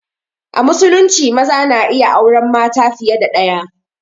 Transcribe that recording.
A musulunci maza na iya auren mata fiye da ɗaya